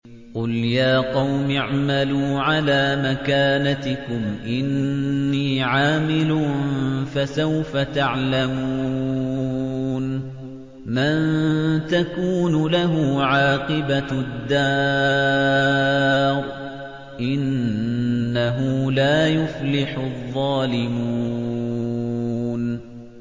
قُلْ يَا قَوْمِ اعْمَلُوا عَلَىٰ مَكَانَتِكُمْ إِنِّي عَامِلٌ ۖ فَسَوْفَ تَعْلَمُونَ مَن تَكُونُ لَهُ عَاقِبَةُ الدَّارِ ۗ إِنَّهُ لَا يُفْلِحُ الظَّالِمُونَ